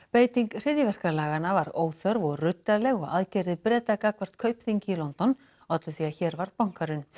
beiting hryðjuverkalaganna var óþörf og ruddaleg og aðgerðir Breta gagnvart Kaupþingi í London ollu því að hér varð bankahrun